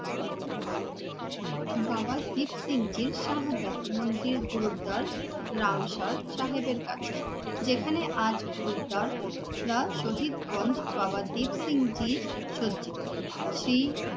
বাবা দীপসিং জির শাহাদাত মন্দির গুরুদার নাঙ্গসর সাহেবের কাছে, যেখানে আজ গুরুদার যা শহীদ গণ বাবা দীপসিং জি সজ্জিত